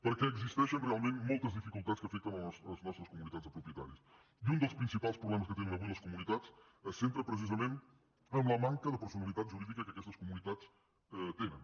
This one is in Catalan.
perquè existeixen realment moltes dificultats que afecten les nostres comunitats de propietaris i un dels principals problemes que tenen avui les comunitats es centra precisament en la manca de personalitat jurídica que aquestes comunitats tenen